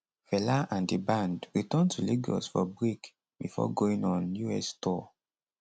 fela and di band return to lagos for break bifor going on us tour